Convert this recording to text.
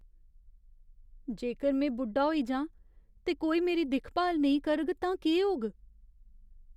जेकर में बुढ्ढा होई जांऽ ते कोई मेरी दिक्ख भाल नेईं करग तां केह्‌ होग?